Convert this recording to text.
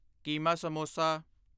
keema samosa